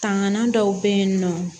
Tangan dɔw be yen nɔ